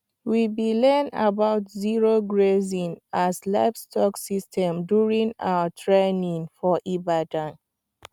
we bi learn about zero grazing as livestock system during our training for ibadan